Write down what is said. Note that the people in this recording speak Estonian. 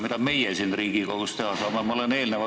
Mida meie siin Riigikogus teha saame?